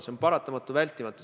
See on paratamatu, vältimatu.